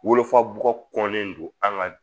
Wolofa bɔ kɔnɔnen don an ka